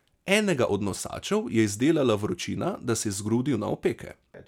Enega od nosačev je zdelala vročina, da se je zgrudil na opeke.